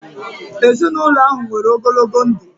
Ezinụlọ ahụ nwere ogologo ndụ